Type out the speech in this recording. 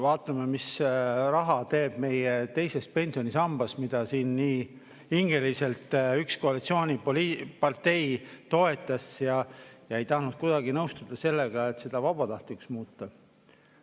Vaatame, mis raha teeb meie teises pensionisambas, mida siin nii hingeliselt üks koalitsioonipartei toetas ega tahtnud kuidagi nõustuda sellega, et see vabatahtlikuks muudetaks.